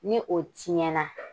Ni o tiɲɛ na